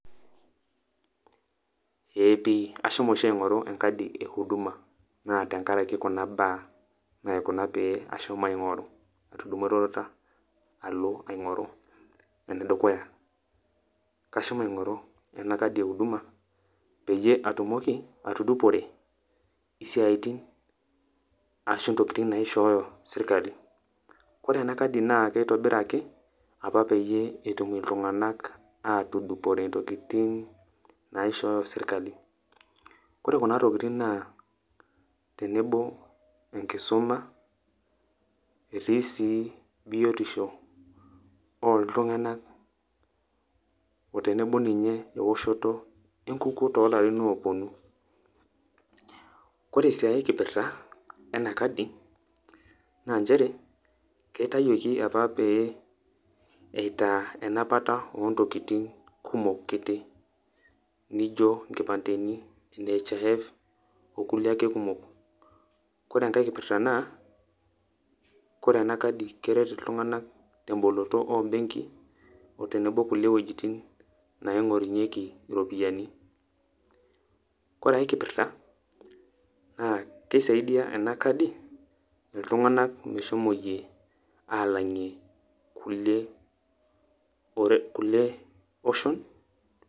Ee pi ashomo oshi aingoru enkadi e huduma naa tenkaraki kuna baa naikuna pee ashomo aingoru, atudumwa eroruata alo aingoru . Ene dukuya , kashomo aingoru ena kadi e huduma peyie atumoki atudupore siatin ashu ntokitin naishooyo sirkali. Ore ena kadi naa kitobiraki apapeyie etum iltunganak atudupore naishooyo sirkali. Ore kuna tokitin naa tenebo enkisuma , etii sii biotisho oltunganak otenebo sii eoshoto enkukuo tolarin oponu .Ore sii ae kipirta ena kadi naa nchere keitayioki apa pee itaa enapata ontokitin kumok kiti , nijo nkimpandeni, nhif okulie akekumok. Ore enkae kipirta naa ore ena kadi naa keret iltunganak temboloto ombenkii otenebo kulie wuejitin kumok naingorunyieki iropiyiani,